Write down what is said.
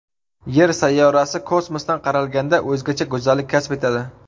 Yer sayyorasi kosmosdan qaralganda o‘zgacha go‘zallik kasb etadi.